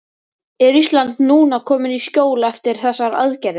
Er Ísland núna komið í skjól eftir þessar aðgerðir?